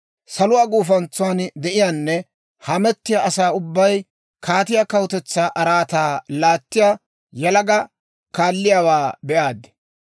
Saluwaa gufantsan de'iyaanne hamettiyaa asaa ubbay kaatiyaa kawutetsaa araataa laattiyaa yalaga kaalliyaawaa be'aad.